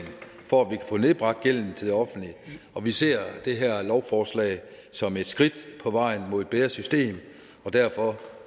for at vi kan få nedbragt gælden til det offentlige og vi ser det her lovforslag som et skridt på vejen mod et bedre system derfor